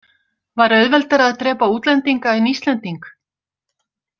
Var auðveldara að drepa útlendinga en Íslending?